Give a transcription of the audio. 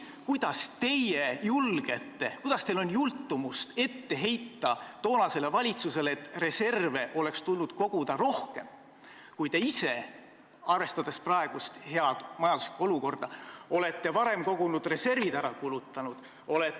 Aga kuidas teil on jultumust ette heita toonasele valitsusele, et reserve oleks tulnud koguda rohkem, kui te ise, arvestades praegust head majanduslikku olukorda, olete varem kogutud reservid ära kulutanud?